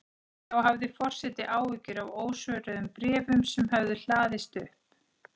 Þá hafði forseti áhyggjur af ósvöruðum bréfum sem höfðu hlaðist upp.